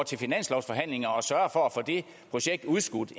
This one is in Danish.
til finanslovsforhandlinger og sørger for at få det projekt udskudt